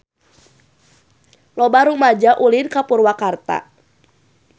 Loba rumaja ulin ka Purwakarta